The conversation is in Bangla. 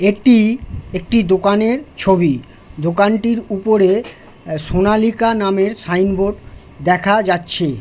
এইটি একটি দোকানের ছবি দোকানটির উপরে সোনালীকা নামের সাইন বোর্ড দেখা যাচ্ছে--